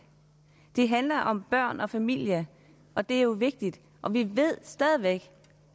det handler om børn og familier og det er jo vigtigt og vi ved stadig væk